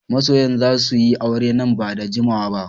Masoyan za su yi aure nan ba da jimawa ba